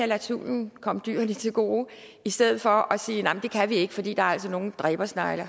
lade tvivlen komme dyrene til gode i stedet for at sige at nej det kan vi ikke for der er altså nogle dræbersnegle